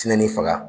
Tinɛ ni faga